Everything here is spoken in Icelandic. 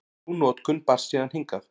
Sú notkun barst síðan hingað.